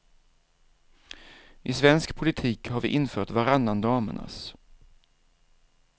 I svensk politik har vi infört varannan damernas.